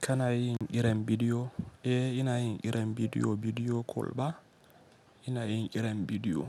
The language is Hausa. Kana yin ƙiran bidiyo? Eh, ina yin ƙiran bidiyo, bidiyo call ba. Ina yin ƙiran bidiyo